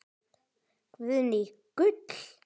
Guðný: Gull?